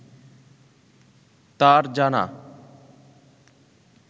তাঁর জানা